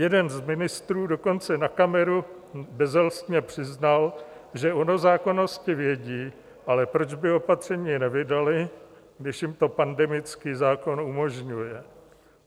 Jeden z ministrů dokonce na kameru bezelstně přiznal, že o nezákonnosti vědí, ale proč by opatření nevydali, když jim to pandemický zákon umožňuje.